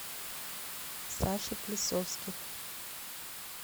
саше плесовских